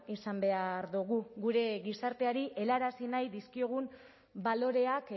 izan behar dugu gure gizarteari helarazi nahi dizkiogun baloreak